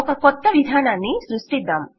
ఒక కొత్త విధానాన్ని సృష్టిద్దాం